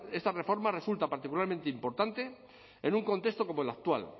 esta reforma resulta particularmente importante en un contexto como el actual